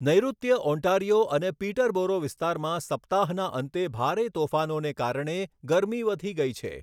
નૈઋત્ય Ontario અને Peterborough વિસ્તારમાં સપ્તાહના અંતે ભારે તોફાનોને કારણે ગરમી વધી ગઈ છે.